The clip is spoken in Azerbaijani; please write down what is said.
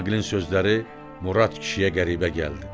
Aqilin sözləri Murad kişiyə qəribə gəldi.